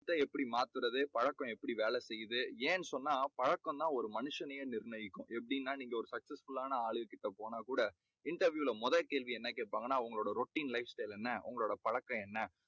எதை எப்படி மாத்தறது? பழக்கம் எப்படி வேலை செய்யது? ஏன் சொன்னா பழக்கம் தான் ஒரு மனுஷனையே நிர்ணயிக்கும். எப்படின்னா நீங்க ஒரு successful லான ஆளுக கிட்ட போனாக் கூட interview ல முதல் கேள்வி வந்து என்ன கேட்பாங்கன்னா உங்க routine life style என்ன? உங்களோட பழக்கம் என்ன?